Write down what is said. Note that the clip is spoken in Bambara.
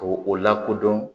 K'o o lakodɔn